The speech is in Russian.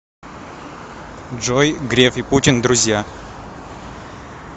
джой греф и путин друзья